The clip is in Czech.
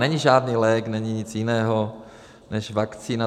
Není žádný lék, není nic jiného než vakcína.